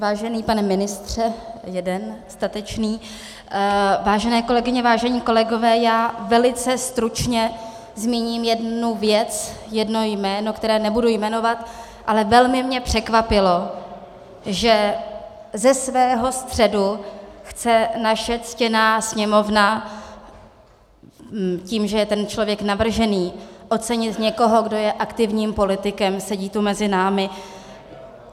Vážený pane ministře - jeden statečný, vážené kolegyně, vážení kolegové, já velice stručně zmíním jednu věc, jedno jméno, které nebudu jmenovat, ale velmi mě překvapilo, že ze svého středu chce naše ctěná Sněmovna tím, že je ten člověk navržený, ocenit někoho, kdo je aktivním politikem, sedí tu mezi námi.